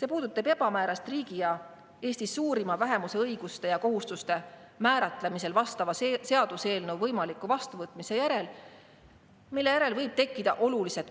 See puudutab ebamäärasust riigi ja Eesti suurima vähemuse õiguste ja kohustuste määratlemisel vastava seaduseelnõu võimaliku vastuvõtmise järel, kui võib tekkida